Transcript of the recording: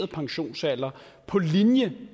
pensionsalder på linje